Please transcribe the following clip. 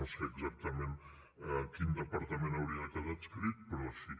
no sé exactament a quin departament hauria de quedar adscrit però així